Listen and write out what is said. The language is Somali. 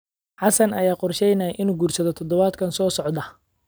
Xassan ayaa qorsheynaya inuu guursado toddobaadka soo socda